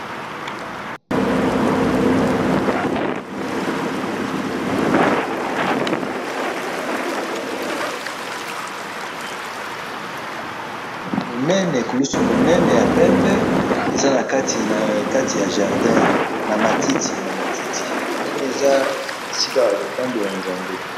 na moni ekulusu munene na matiti, na moni ezali esika yako sambela nzambe